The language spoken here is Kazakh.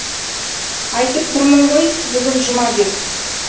айтып тұрмын ғой бүгін жұма деп